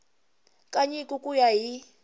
ka nyiko ku ya hi